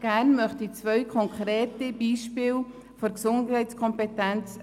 Gerne möchte ich zwei konkrete Beispiele herausgreifen.